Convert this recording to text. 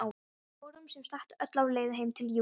Við vorum sem sagt öll á leið heim til Júlíu.